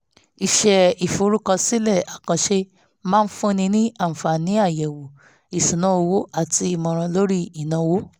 iṣẹ́ ìforúkọsílẹ̀ àkànṣe máa ń fúnni ní àǹfààní àyẹ̀wò ìṣúnná owó àti ìmọ̀ràn lórí ìnáwó